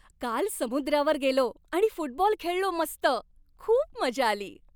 काल समुद्रावर गेलो आणि फुटबॉल खेळलो मस्त. खूप मजा आली.